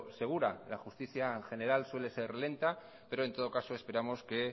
segura la justicia general suele ser lenta pero en todo caso esperamos que